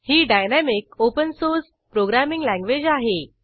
ही dynamic open source programming language आहे